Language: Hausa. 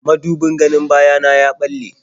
Mudubin ganin baya na ya ɓalle.